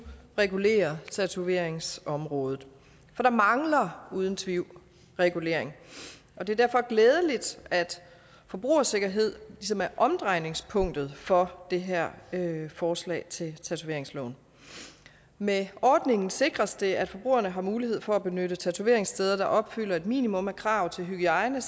regulerer tatoveringsområdet for der mangler uden tvivl regulering og det er derfor glædeligt at forbrugersikkerhed ligesom er omdrejningspunktet for det her forslag til ændring af tatoveringsloven med ordningen sikres det at forbrugerne har mulighed for at benytte tatoveringssteder der opfylder et minimum af krav til hygiejne